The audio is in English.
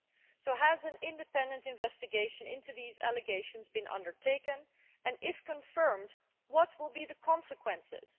So has an independent investigation into these allegations been undertaken and, if confirmed, what will be the consequences?